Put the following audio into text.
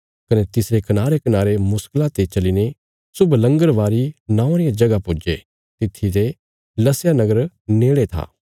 कने तिसरे कनारेकनारे मुश्कला ते चलीने शुभलंगरबारी नौआं रिया जगह पुज्जे तित्थी ते लसया नगर नेड़े था